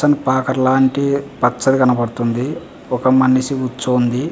పాకు లాంటి పచ్చగా కనిపిస్తుంది.ఒక మనిషికూర్చొని ఉంది.